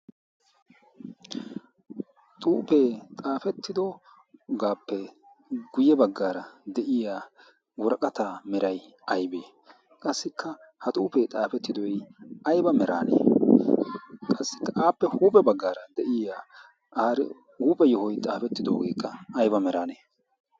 xuufee xaafettidogaappe guyye baggaara de'iya woraqataa merayyaibee qassikka ha xuufee xaafettidoy ayba meraanee qassikka aappe huuphe baggaara deyiya aari huuphe yohoi xaafettidoogeekka ayba meraanee?